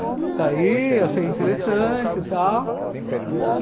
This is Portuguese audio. Daí eu achei interessante e tal.